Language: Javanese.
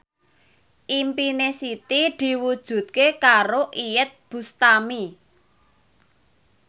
impine Siti diwujudke karo Iyeth Bustami